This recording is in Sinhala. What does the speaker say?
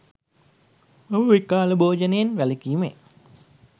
මම විකාල භෝජනයෙන් වැළකීමේ